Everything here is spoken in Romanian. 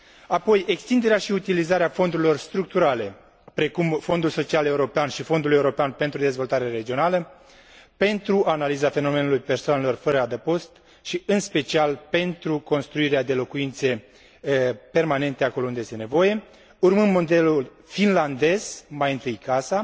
Apoi, extinderea și utilizarea fondurilor structurale, precum Fondul social european și Fondul european de dezvoltare regională, pentru analiza fenomenului persoanelor fără adăpost și, în special, pentru construirea de locuințe permanente acolo unde este nevoie, urmând modelul finlandez Mai întâi casa